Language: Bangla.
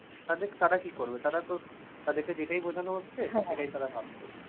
তাদের তারা কি করবে? তারাতো তাদেরকে যেটাই বুঝানো হচ্ছে সেটাই তারা ভাবছে।